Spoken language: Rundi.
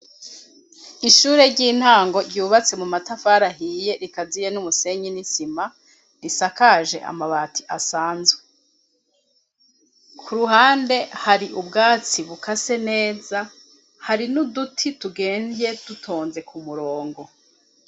Ishure ry'intango ryubatse mu matafari ahiye rikaziye n'umusenyi n'isima, risakaje amabati asanzwe, ku ruhande hari ubwatsi bukase neza, hari n'uduti turemvye dutonze ku murongo.